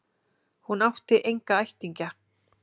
Hún átti enga ættingja.